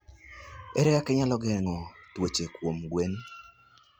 Ere kaka inyalo geng'o tuoche kuom gwen?